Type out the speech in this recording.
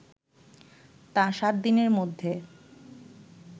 তা ৭ দিনের মধ্যে